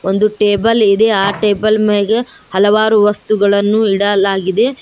ಒಂದು ಟೇಬಲ್ ಇದೆ ಆ ಟೇಬಲ್ ಮೇಘ ಹಲವಾರು ವಸ್ತುಗಳನ್ನು ಇಡಲಾಗಿದೆ.